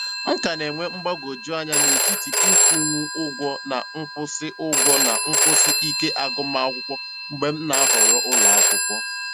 M ka na-enwe mgbagwojuanya n'etiti ịkwụnwu ụgwọ na nkwụsị ụgwọ na nkwụsị ike agụmakwụkwọ mgbe m na-ahọrọ ụlọakwụkwọ.